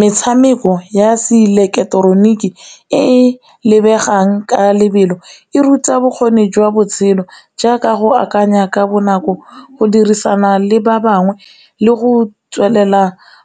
Metshameko ya seileketeroniki e lebegang ka lebelo e ruta bokgoni jwa botshelo jaaka go akanya ka bonako, go dirisana le ba bangwe, le go tswelela